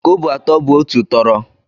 Kọbọ atọ bu otu tọrọ.